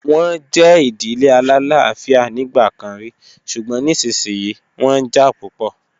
Wọ́n jẹ́ ìdílé alálàáfíà nígbà kan rí, ṣùgbọ́n nísinsìnyí wọ́n jà púpọ̀.